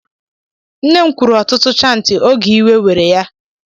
Nne m kwuru ọtụtụ chantị oge iwe were ya.